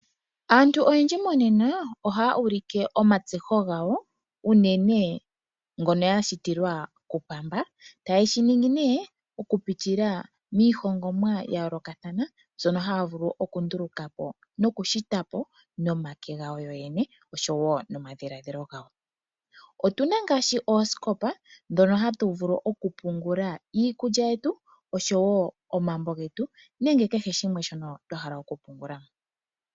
Aantu oyendji monena ohaya ulike oowino dhawo ndhoka ya shitilwa kupamba taye shi ningi okupitila miihongomwa ya yoolokathana mbyono haya vulu okunduluka po nomake gawo yoyene oshowo nomadhiladhilo gawo. Otu na ngaashi oosikopa ndhono hatu vulu okupungula iikulya yetu noshwo omambo getu nenge kehe shimwe shono twa hala okupungula.